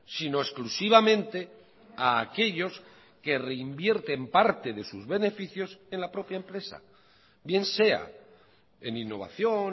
sino exclusivamente a aquellos que reinvierten parte de sus beneficios en la propia empresa bien sea en innovación